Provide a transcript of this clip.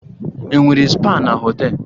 Enwere spa na họtel?